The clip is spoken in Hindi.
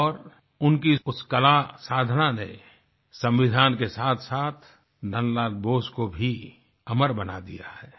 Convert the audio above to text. और उनकी इस कला साधना ने संविधान के साथसाथ नन्द लाल बोस को भी अमर बना दिया है